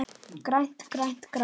GRÆNT, GRÆNT, GRÆNT.